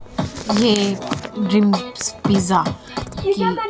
ये dreams pizza कि --